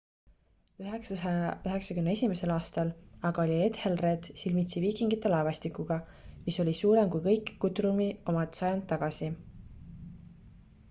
991 aastal aga oli ethelred silmitsi viikingite laevastikuga mis oli suurem kui kõik guthrumi omad sajand tagasi